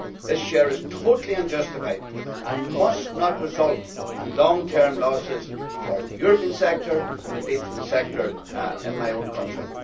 This is totally unjustified and must not result in long term losses for the European sector, and indeed for the sector in my own country.